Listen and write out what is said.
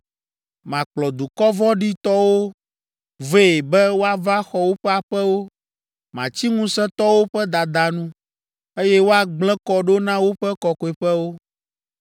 Makplɔ dukɔ vɔ̃ɖitɔwo vɛ be woava xɔ woƒe aƒewo, matsi ŋusẽtɔwo ƒe dada nu, eye woagblẽ kɔ ɖo na woƒe Kɔkɔeƒewo.